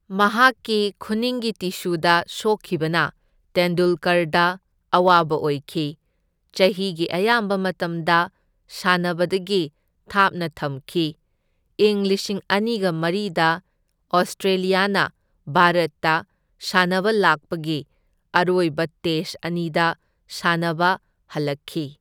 ꯃꯍꯥꯛꯀꯤ ꯈꯨꯅꯤꯡꯒꯤ ꯇꯤꯁꯨꯗ ꯁꯣꯛꯈꯤꯕꯅ ꯇꯦꯟꯗꯨꯜꯀꯔꯗ ꯑꯋꯥꯕ ꯑꯣꯏꯈꯤ, ꯆꯍꯤꯒꯤ ꯑꯌꯥꯝꯕ ꯃꯇꯝꯗ ꯁꯥꯅꯕꯗꯒꯤ ꯊꯥꯞꯅ ꯊꯝꯈꯤ, ꯏꯪ ꯂꯤꯁꯤꯡ ꯑꯅꯤꯒ ꯃꯔꯤꯗ ꯑꯣꯁꯇ꯭ꯔꯦꯂꯤꯌꯥꯅ ꯚꯥꯔꯠꯗ ꯁꯥꯟꯅꯕ ꯂꯥꯛꯄꯒꯤ ꯑꯔꯣꯏꯕ ꯇꯦꯁꯠ ꯑꯅꯤꯗ ꯁꯅꯥꯅꯕ ꯍꯜꯂꯛꯈꯤ꯫